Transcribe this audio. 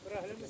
Bura qoyaq?